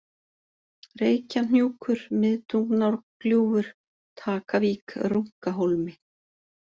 Reykjahnjúkur, Miðtungnárgljúfur, Takavík, Runkahólmi